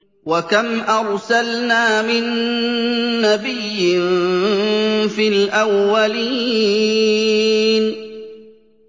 وَكَمْ أَرْسَلْنَا مِن نَّبِيٍّ فِي الْأَوَّلِينَ